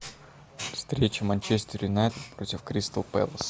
встреча манчестер юнайтед против кристал пэлас